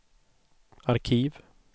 arkiv